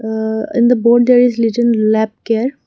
uh in the board there is litten lap care.